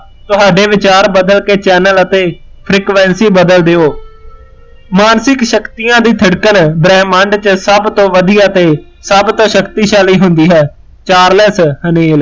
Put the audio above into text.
ਤੁਹਾਡੇ ਵਿਚਾਰ ਬਦਲ ਕੇ ਚੈਨਲ ਅਤੇ frequency ਬਦਲ ਦਿਓ ਮਾਨਸਿਕ ਸ਼ਕਤੀਆਂ ਦੀ ਧੜਕਣ ਬ੍ਰਹਿਮੰਡ ਚ ਸਭ ਤੋਂ ਵਧੀਆ ਅਤੇ ਸਭ ਤੋਂ ਸ਼ਕਤੀਸ਼ਾਲੀ ਹੁੰਦੀ ਹੈ ਚਾਰਲਸ ਹਨੇਲ